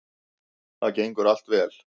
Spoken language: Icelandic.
Það gengur allt vel